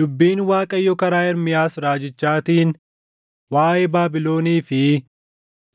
Dubbiin Waaqayyo karaa Ermiyaas raajichaatiin waaʼee Baabilonii fi